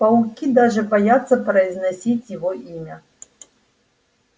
пауки даже боятся произносить его имя